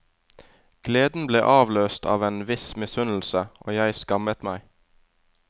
Gleden ble avløst av en viss misunnelse, og jeg skammet meg.